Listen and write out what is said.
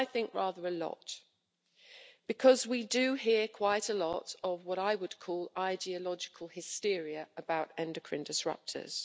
Well, I think rather a lot because we do hear quite a lot of what I would call ideological hysteria about endocrine disruptors.